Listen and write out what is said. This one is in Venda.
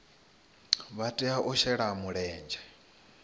vha tea u shela mulenzhe